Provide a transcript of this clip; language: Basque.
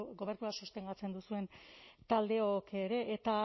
gobernua sostengatzen duzuen taldeok ere eta